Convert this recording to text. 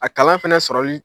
A kalan fana sɔrɔli.